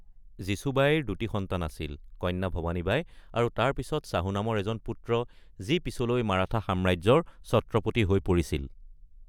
যীচুবাইৰ দুটা সন্তান আছিল, কন্যা ভৱানী বাই আৰু তাৰ পিছত শ্বহু নামৰ এজন পুত্ৰ, যি পিছলৈ মাৰাঠা সাম্ৰাজ্যৰ ছত্ৰপতি হৈ পৰিছিল।